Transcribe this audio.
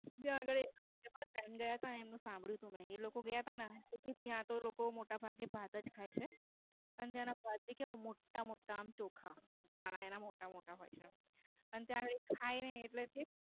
ત્યાં આગળ એક Friend એ પણ એમનું સાંભળ્યું તું મેં. એ લોકો ગયા તા ને તો ત્યાંતો લોકો મોટા ભાગે ભાત જ ખાય છે અને ત્યાંના ભાત ભી કેવા મોટા મોટા હોય છે. અને ત્યાં એ ખાય ને એટલે